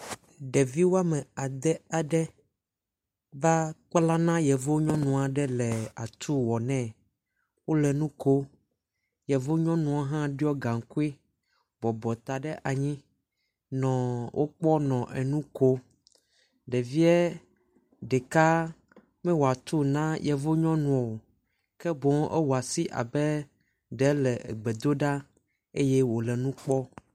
Ɖevi woame ade aɖe va kpla na yevu nyɔnu aɖe le atu wɔ nɛ, wole nu kom, yevu nyɔnua hã ɖɔ gaŋkui bɔbɔ ta ɖe anyi nɔ wo kpɔm nɔ enu kom. Ɖevie ɖeka mewɔ atu ne nyɔnuɔ ke ewɔ asi abe ɖe le egbe do ɖa eye nu kpɔ.